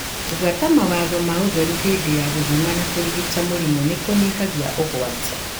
Gubuata mawatho ma ũtheru hĩndĩ ya gũthima na kũrigita mĩrimũ nĩkũnyihagia ũgwati.